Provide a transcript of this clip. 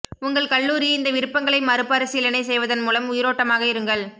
உங்கள் கல்லூரி இந்த விருப்பங்களை மறுபரிசீலனை செய்வதன் மூலம் உயிரோட்டமாக இருங்கள்